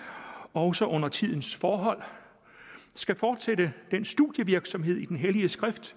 også under tidens forhold skal fortsætte den studievirksomhed i den hellige skrift